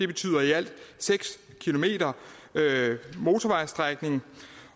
betyder i alt seks km motorvejsstrækning